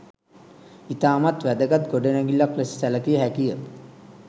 ඉතාමත් වැදගත් ගොඩනැගිල්ලක් ලෙස සැලකිය හැකිය.